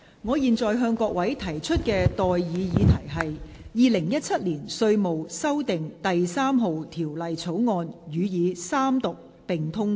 我現在向各位提出的待議議題是：《2017年稅務條例草案》予以三讀並通過。